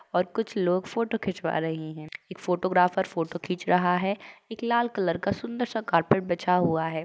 और कुछ लोग फोटो खिचवा रही हैं। एक फोटोग्राफर फोटो खींच रहा है एक लाल कलर का सुंदर सा कारपेट बिछा हुआ है।